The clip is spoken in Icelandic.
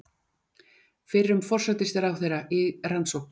Fyrrum forsætisráðherra í rannsókn